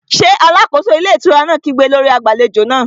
Ṣé alákóso ilé ìtura náà kígbe lórí agbàlejò náà?